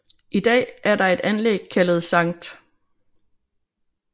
I dag er der et anlæg kaldet Sct